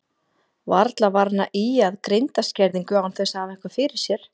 Varla var hann að ýja að greindarskerðingu án þess að hafa eitthvað fyrir sér.